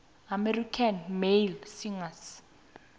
american male singers